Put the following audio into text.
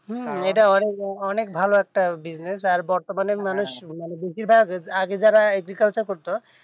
হম এটা অনেক ভালো একটা business আর বর্তমানে বেশির ভাগ আগে যারা agriculture করতো